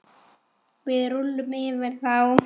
Við rúllum yfir þá!